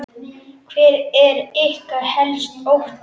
Hver er ykkar helsti ótti?